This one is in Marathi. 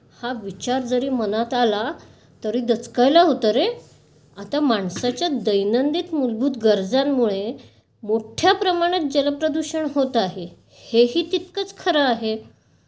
हा विचार जरी मनात आला तरी दचकायला होतं रे. आता मानसाच्या दैनंदिन मूलभूत गरजांमुळे मोठ्या प्रमाणात जल प्रदूषण होत आहे. हेही तितकंचं खरं आहे.